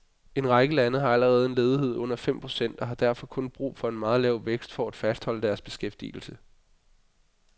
En række lande har allerede en ledighed under fem procent og har derfor kun brug for meget en lav vækst for at fastholde deres beskæftigelse.